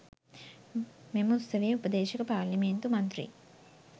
මෙම උත්සවයේ උපදේශක පාරේලිමේන්තු මන්ත්‍රී